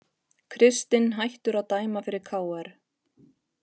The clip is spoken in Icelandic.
Kristinn hættur að dæma fyrir KR